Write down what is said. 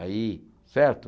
Aí, certo?